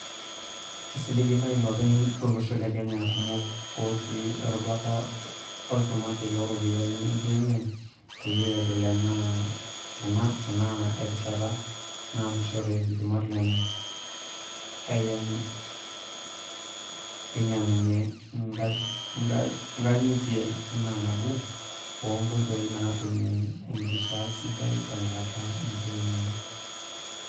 Kisiligita iloopeny lolosho le Kenya kumok ootii erubata olchumati looropiyiani enkiyengiyeng peyie edol ena enaa erishata naasishore ilchumat lenye ainyiangunyia ngangitia enaa naboo ongotoi naatumia enkishaa sidai tenkata enkiyengiyeng.